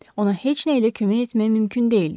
Ona heç nə ilə kömək etmək mümkün deyildi.